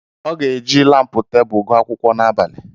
Ọ ga-eji lampu tebụl gụọ akwụkwọ n'abalị a.